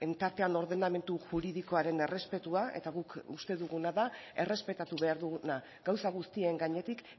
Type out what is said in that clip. tartean ordenamendu juridikoaren errespetua eta guk uste duguna da errespetatu behar duguna gauza guztien gainetik